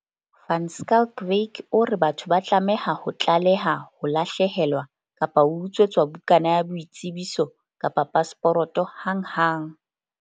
Van Schalkwyk o re batho ba tlameha ho tlaleha ho lahlehelwa kapa ho utswetswa bukana ya boitsebiso kapa pasporoto hanghang.